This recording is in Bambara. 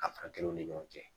Afrakila u ni ɲɔgɔn cɛ